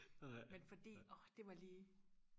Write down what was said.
men fordi åh det var lige